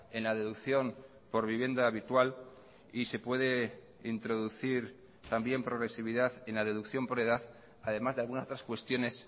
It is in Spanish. en la deducción por vivienda habitual y se puede introducir también progresividad en la deducción por edad además de algunas otras cuestiones